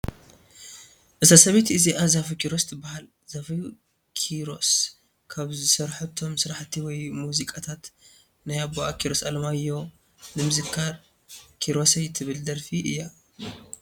እዛ ሰበይቲ እዚኣ ዛፉ ክሮስ ትብሃል ዛፉ ኪሮ ካብ ዝሰረሐቶም ስራሕቲ ወይ ሙዚቃታት ናይ ኣቡኣ ኪሮስ ኣለማዮህ ንምዝካር ኪሮሰይ ትብል ደርፊ እያ።